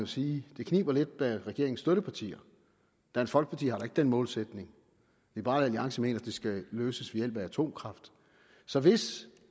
sige at det kniber lidt med regeringens støttepartier dansk folkeparti har da ikke den målsætning liberal alliance mener at det skal løses ved hjælp af atomkraft så hvis